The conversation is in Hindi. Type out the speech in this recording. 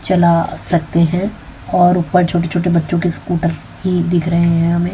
चला सकते हैं और ऊपर छोटे छोटे बच्चों के स्कूटर भी दिख रहे हैं हमें।